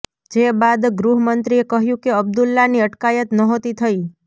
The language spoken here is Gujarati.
જે બાદ ગૃહમંત્રીએ કહ્યું કે અબ્દુલ્લાની અટકાયત નહોતી થઈ